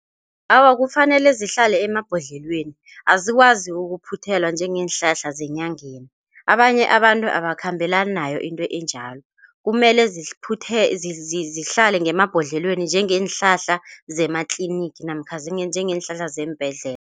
Awa, kufanele zihlale emabhodlelweni azikwazi ukuphothela njengeenhlahla zenyanga abanye abantu abakhambela unayo into enjalo. Kumele ziphuthelwe zihlale ngemabhodlelweni njengeenhlahla zematliniki namkha njengeenhlahla zeembhendlela.